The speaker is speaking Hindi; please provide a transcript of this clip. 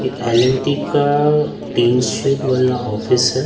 ये एल_एन_टी का टीन शेड वाला ऑफिस है।